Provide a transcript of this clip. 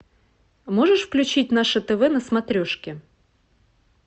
можешь включить наше тв на смотрешке